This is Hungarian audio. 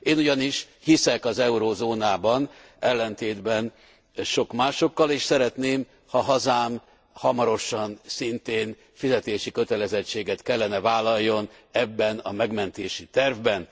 Én ugyanis hiszek az eurózónában ellentétben sok másokkal és szeretném, ha a hazám hamarosan szintén fizetési kötelezettséget kellene vállaljon ebben a megmentési tervben.